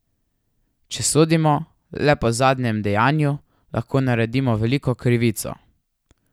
Če sodimo le po zadnjem dejanju, lahko naredimo veliko krivico.